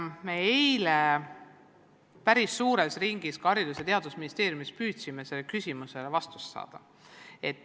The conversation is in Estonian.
Me püüdsime eile päris suures ringis ka Haridus- ja Teadusministeeriumis sellele küsimusele vastust saada.